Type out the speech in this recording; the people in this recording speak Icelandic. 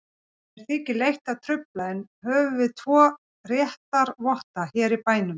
Mér þykir leitt að trufla, en við höfum tvo réttarvotta hér í bænum.